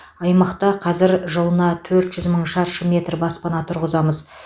аймақта қазір жылына төрт жүз мың шаршы метр баспана тұрғызамыз